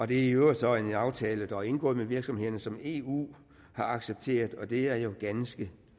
det er i øvrigt så en aftale der er indgået med virksomhederne som eu har accepteret og det er jo ganske